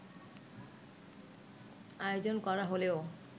আয়োজন করা হলেও